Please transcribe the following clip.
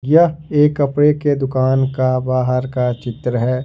यह एक कपड़े के दुकान का बाहर का चित्र है।